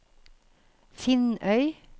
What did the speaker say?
Finnøy